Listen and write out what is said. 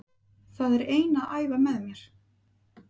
Það er ein að æfa með mér.